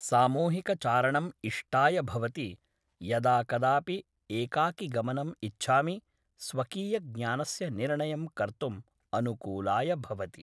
सामूहिकचारणम् इष्टाय भवति यदा कदापि एकाकिगमनम् इच्छामि स्वकीयज्ञानस्य निर्णयं कर्तुम् अनुकुलाय भवति